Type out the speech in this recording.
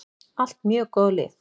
Allt mjög góð lið.